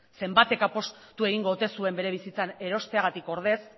zenbatek apustu egingo ote zuen bere bizitzan erosteagatik ordez